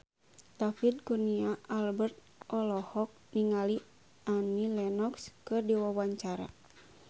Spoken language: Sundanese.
David Kurnia Albert olohok ningali Annie Lenox keur diwawancara